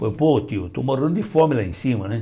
Pô tio, estou morando de fome lá em cima, né?